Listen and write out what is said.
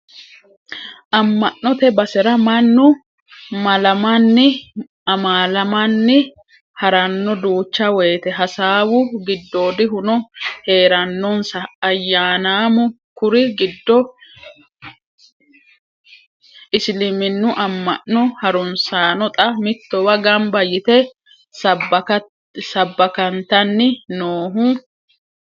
Ama'note basera mannu malamanni amalamani harano duucha woyte hasaawu giddoodihuno heeranonsa ayyannamu kuri giddo isiliminu amano harunsano xa mittowa gamba yte sabbakkattaniti noohu.